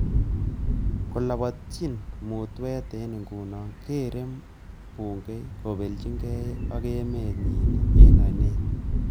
Kolapatchin mutwot eng nguno kerei bungei kobelchinkei ak emet nyi eng onet